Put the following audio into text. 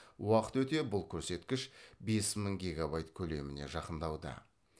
уақыт өте бұл көрсеткіш бес мың гегабайт көлеміне жақындауда